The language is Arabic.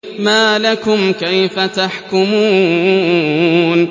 مَا لَكُمْ كَيْفَ تَحْكُمُونَ